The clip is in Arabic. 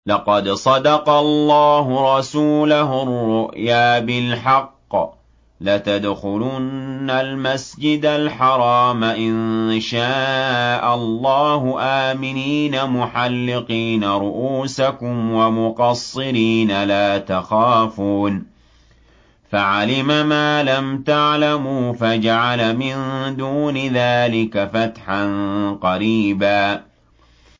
لَّقَدْ صَدَقَ اللَّهُ رَسُولَهُ الرُّؤْيَا بِالْحَقِّ ۖ لَتَدْخُلُنَّ الْمَسْجِدَ الْحَرَامَ إِن شَاءَ اللَّهُ آمِنِينَ مُحَلِّقِينَ رُءُوسَكُمْ وَمُقَصِّرِينَ لَا تَخَافُونَ ۖ فَعَلِمَ مَا لَمْ تَعْلَمُوا فَجَعَلَ مِن دُونِ ذَٰلِكَ فَتْحًا قَرِيبًا